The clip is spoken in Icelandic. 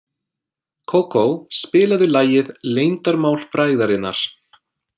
Kókó, spilaðu lagið „Leyndarmál frægðarinnar“.